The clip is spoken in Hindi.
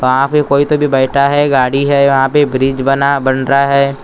वहां पे कोई तो अभी बैठा हैं गाडी हैं वह पे ब्रिज बना बन रहा हैं।